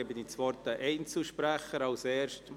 Somit erteile ich den Einzelsprechern das Wort.